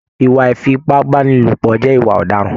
Ìwà ifipabanilopọ jẹ ìwà ọdaràn.